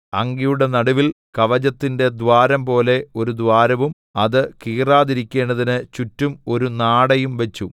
അങ്കിയുടെ നടുവിൽ കവചത്തിന്റെ ദ്വാരംപോലെ ഒരു ദ്വാരവും അത് കീറാതിരിക്കണ്ടതിന് ചുറ്റും ഒരു നാടയും വച്ചു